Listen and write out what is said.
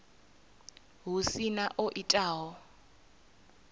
hu si na o itaho